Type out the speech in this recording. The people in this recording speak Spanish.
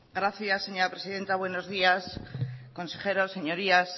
gracias señora presidenta buenos días consejeros señorías